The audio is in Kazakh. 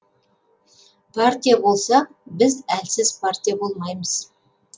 партия болсақ біз әлсіз партия болмаймыз